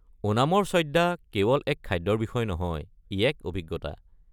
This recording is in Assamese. ওনামৰ সদ্যা কেৱল এক খাদ্যৰ বিষয় নহয়, ই এক অভিজ্ঞতা।